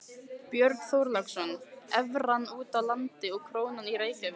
Björn Þorláksson: Evran úti á landi og krónan í Reykjavík?